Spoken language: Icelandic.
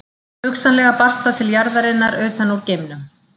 Hugsanlega barst það til jarðarinn utan úr geimnum.